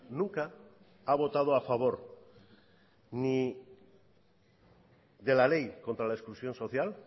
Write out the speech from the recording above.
nunca ha votado a favor ni de la ley contra la exclusión social